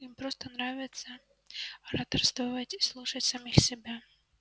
им просто нравится ораторствовать и слушать самих себя